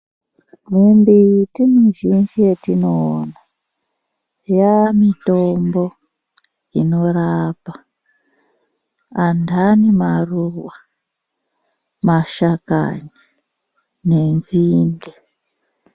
Mimbiti mizhinji yetinoona yamitombo inorapa andani maruva, mashakani nenzinde.